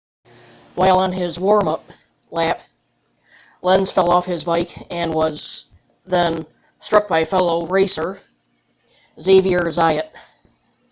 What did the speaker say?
while on his warm-up lap lenz fell off his bike and was then struck by fellow racer xavier zayat